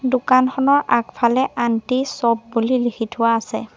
দোকানখনৰ আগফালে aunty shop বুলি লিখি থোৱা আছে।